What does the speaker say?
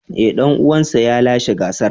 Ee, dan uwansa ne ya lashe gasar.